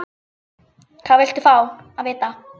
Hvað viltu fá að vita?